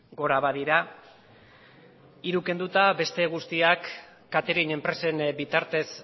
gora badira hiru kenduta beste guztiak catering enpresen bitartez